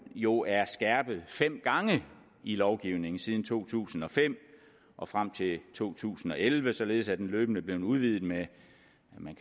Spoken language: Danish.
jo er skærpet fem gange i lovgivningen siden to tusind og fem og frem til to tusind og elleve således at den løbende er blevet udvidet med